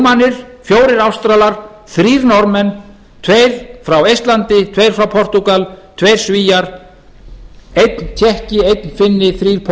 fimm rúmenar fjögur ástralir þrjú norðmenn tveir frá eistlandi tveir frá portúgal tveir svíar eins tékki einn finni